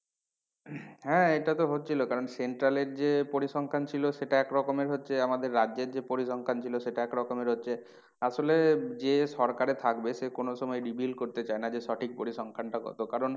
হ্যাঁ এটা তো হচ্ছিলো কারণ central এর যে পরিসংখ্যান ছিল সেটা এক রকমের হচ্ছে আমাদের রাজ্যের যে পরিসংখ্যান ছিল সেটা এক রকমের হচ্ছে। আসলে যে সরকারে থাকবে সে কোনো সময় reveal করতে চায় না যে সঠিক পরিসংখ্যানটা কত কারণ